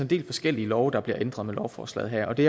del forskellige love der bliver ændret med lovforslaget her det